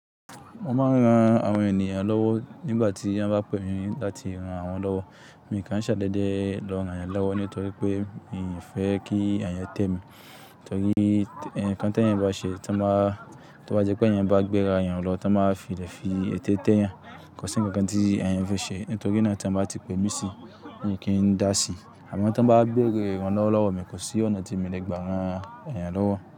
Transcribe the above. Wọ́n máa ń ran àwọn ènìyàn lọ́wọ́ nígbà tí wọ́n bá pè mí láti ran àwọn lọ́wọ́. Èmi kì n ṣàdédé lọ rán ẹ̀yàn lọ́wọ́ nítorí pé èmi fẹ́ kí ẹ̀yàn tẹ̀ mí. Nítorí kí ẹ̀yàn tó bá ṣe, tan bá jẹ́ pé ẹ̀yàn bá gbéra yan lọ́, tí wọ́n báa fi lẹ̀ fi eté tẹ́ yan, kò sí ǹkan kan tí ẹ̀yàn fẹ́ ṣe. Nítorí náà tí wọ́n bá ti pè mí sí i, èmi kì í dá sí i. Àmọ́ tí wọ́n bá béèrè rán lọ́wọ́ lọ́wọ́ mi, kò sí ọ̀nà tí mo le gbà ran ẹ̀yàn lọ́wọ́